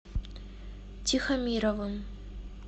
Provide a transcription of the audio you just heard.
тихомировым